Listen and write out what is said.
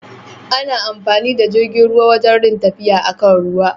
Ana amfani da jirgin ruwa wajan rin tafiya a kan ruwa.